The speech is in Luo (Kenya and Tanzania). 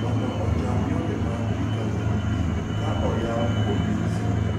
mondo ochan yore mag recoveries kaoyaw kuonde somo.